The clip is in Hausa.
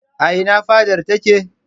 A ina fadar take?